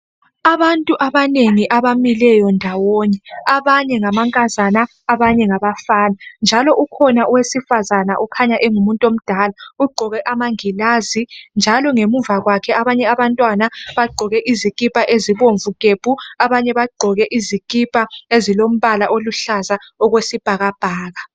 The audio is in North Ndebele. Abantu abanengi abamileyo ndawonye. Abanye ngamankazana abanye ngabafana njalo ukhona owesifazana okhanya engumuntomdala ugqoke amangilazi njalo ngemuva kwakhe abanye abantwana bagqoke izikipa ezibomvu gebhu. Abanye bagqoke izikipa ezilombala oluhlaza okwesibhakabhaka.